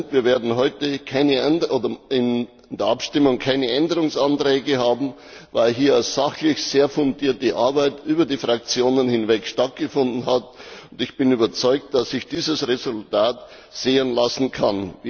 Wir werden heute in der Abstimmung keine Änderungsanträge haben, weil hier sachlich eine sehr fundierte Arbeit über die Fraktionen hinweg stattgefunden hat. Ich bin überzeugt, dass sich dieses Resultat sehen lassen kann.